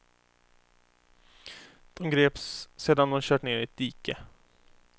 De greps sedan de kört ner i ett dike.